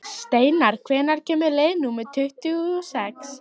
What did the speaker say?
Steinar, hvenær kemur leið númer tuttugu og sex?